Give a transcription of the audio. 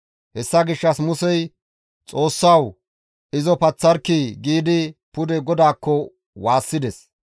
Hessa gishshas Musey, «Xoossawu! Izo paththarkkii!» giidi pude GODAAKKO waassides.